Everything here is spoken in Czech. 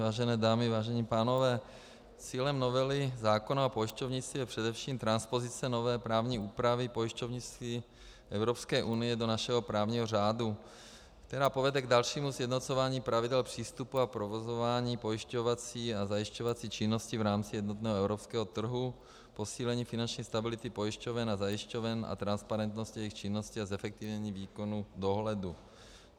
Vážené dámy, vážení pánové, cílem novely zákona o pojišťovnictví je především transpozice nové právní úpravy pojišťovnictví Evropské unie do našeho právního řádu, která povede k dalšímu sjednocování pravidel přístupu a provozování pojišťovací a zajišťovací činnosti v rámci jednotného evropského trhu, posílení finanční stability pojišťoven a zajišťoven a transparentnosti jejich činnosti a zefektivnění výkonu dohledu.